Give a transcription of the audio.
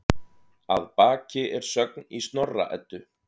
Að baki er sögn í Snorra-Eddu